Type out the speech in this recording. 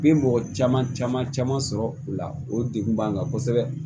Bi mɔgɔ caman caman caman sɔrɔ u la o degun b'an kan kosɛbɛ